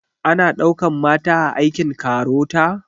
Ana ɗaukan mata a aikin KAROTA?